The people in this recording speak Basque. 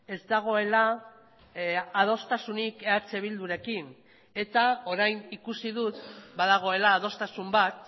ez dagoela adostasunik eh bildurekin eta orain ikusi dut badagoela adostasun bat